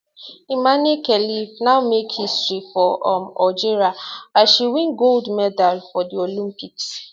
imane khelif now make history for um algeria as she win gold medal for di olympics